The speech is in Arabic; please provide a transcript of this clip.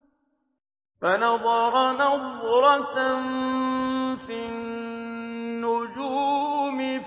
فَنَظَرَ نَظْرَةً فِي النُّجُومِ